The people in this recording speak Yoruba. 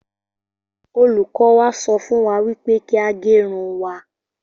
Olùkọ́ wa sọ fún wa wípé kí a gerun wa